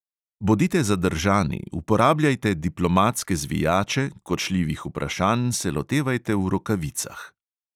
Bodite zadržani, uporabljajte diplomatske zvijače, kočljivih vprašanj se lotevajte v rokavicah.